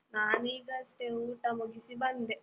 ನಾನಿಗಷ್ಟೇ ಊಟ ಮುಗಿಸಿ ಬಂದೆ.